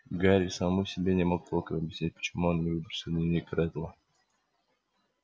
гарри самому себе не мог толком объяснить почему он не выбросил дневник реддла